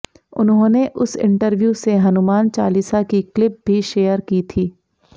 उन्होंने उस इंटरव्यू से हनुमान चालीसा की क्लिप भी शेयर की थी